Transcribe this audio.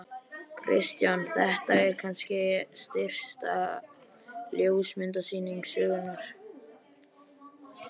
Kristján: Þetta er kannski stysta ljósmyndasýning sögunnar?